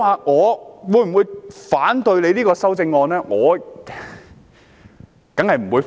我會否反對這項修正案？